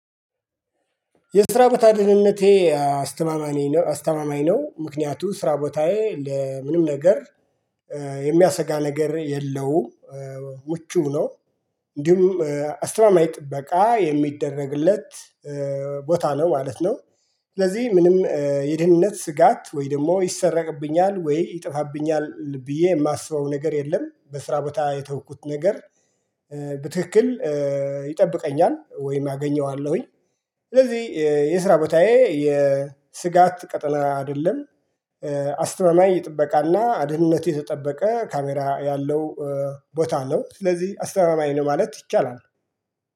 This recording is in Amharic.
የስራ ቦታ ድህነቴ አስተማማኝ ነው አስተማማኝ ነው ምክንያቱም ስራ ቦታዬ ለምንም ነገር የሚያሰጋ ነገር የለውም ምቹ ነው እንዲሁም አስተማማኝ ጥበቃ የሚደረግለት ቦታ ነው ማለት ነው። ስለዚህ ምንም የድህንነት ስጋት ወይ ደግሞ ይሰረቅብኛል ወይ ይጠፋብኛል ብዬ የማስበው ነገር የለም። በስራ ቦታ የተውኩት ነገር በትክክል ይጠብቀኛል ወይም አገኘዋለሁኝ። ስለዚህ የስራ ቦታዬ የስጋት ቀጠና አይደለም። አስተማማኝ ጥበቃና ድህንነቱ የተጠበቀ ካሜራ ያለው ቦታ ነው ስለዚህ አስተማማኝ ነው ማለት ይቻላል